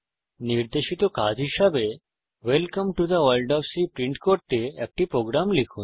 নির্দেশিত কাজ হিসাবে welcome to the world of C print করতে একটি প্রোগ্রাম লিখুন